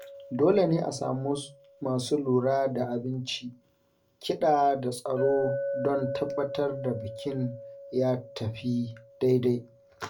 Dole ne a samu masu lura da abinci, kiɗa da tsaro don tabbatar da bikin ya tafi daidai.